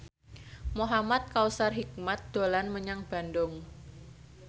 Muhamad Kautsar Hikmat dolan menyang Bandung